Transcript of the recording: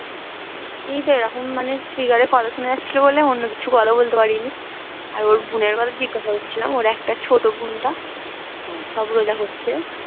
এইতো এরকম মানে speaker এ কথা শোনা যাচ্ছিলো বলে অন্য কিছু কথা বলতে পারিনি। আর ওর বোনের কথাতেই কথা হচ্ছিলাম ওর একটা ছোট বোনটা সব রোজা করছে।